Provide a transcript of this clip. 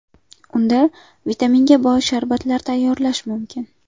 Undan vitaminga boy sharbatlar tayyorlash mumkin.